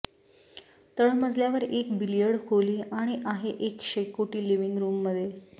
तळमजल्यावर एक बिलियर्ड खोली आणि आहे एक शेकोटी लिव्हिंग रूममध्ये